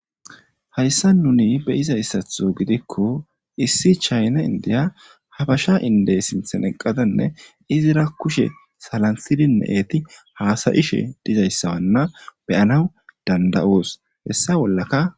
Hayssan nuni be7izayssatho gidikko issi chayna indiya abesha inddey sinthen eqqadanne izira kushe salanttidinne eti haasa7ishe dizayssa be7oos.hessa bollaka